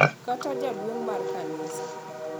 Kata jaduong` mar kanisa.